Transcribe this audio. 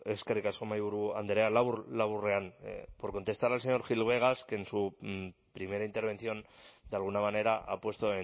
eskerrik asko mahaiburu andrea labur laburrean por contestar al señor gil vegas que en su primera intervención de alguna manera ha puesto